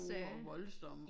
Store og voldsomme